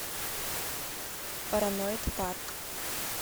параноид парк